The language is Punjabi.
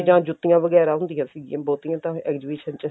ਤੇ ਜਾਂ ਜੁੱਤੀਆਂ ਵਗੈਰਾ ਹੁੰਦੀਆਂ ਸੀਗੀਆਂ ਬਹੁਤੀਆਂ ਤਾਂ exhibition ਚ